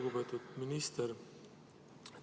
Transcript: Lugupeetud minister!